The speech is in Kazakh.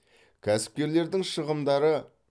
кәсіпкерлердің шығымдары